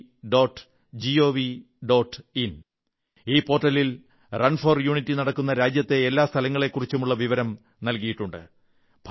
in ഈ പോർട്ടലിൽ run for unity നടക്കുന്ന രാജ്യത്തെ എല്ലാ നഗരങ്ങളെക്കുറിച്ചുമുള്ള വിവരം നല്കിയിട്ടുണ്ട്